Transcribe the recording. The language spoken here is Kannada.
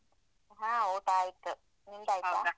ಹಾ ಊಟ ಆಯ್ತು ನಿಮ್ದಾಯ್ತಾ?